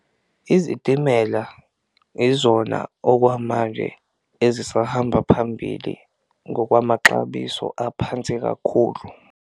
Izitimela izona okwamanje ezisahamba phambili ngokwamaxabiso aphansi kakhulu.